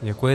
Děkuji.